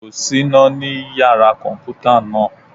Kò sí iná ní Yàrá kọ̀m̀pútà náà.